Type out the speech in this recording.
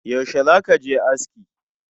Yaushe zaka je aski?